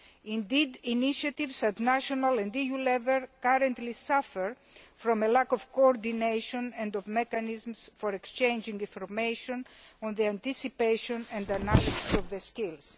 Indeed, initiatives at national and EU level currently suffer from a lack of coordination and of mechanisms for exchanging information on the anticipation and analysis of skills.